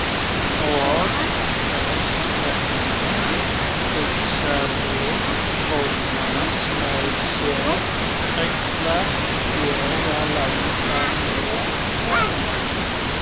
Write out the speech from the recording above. Og þess vegna, hugsaði Thomas með sér, ætla ég að láta mig hverfa.